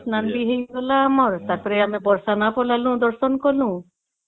କୁମ୍ଭ ସ୍ନାନ ବି ହେଇଗଲା ଆମର ତା ପରେ ବର୍ଷ ନା ପଳେଇଲୁ ଦର୍ଶନ କଲୁ